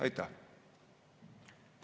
Aitäh!